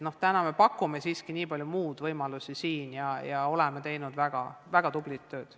Me pakume praegu siiski siin Eestis nii palju muid võimalusi ja oleme teinud väga tublit tööd.